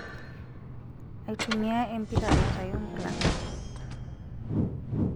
Aitumia empira aitayu nkulak.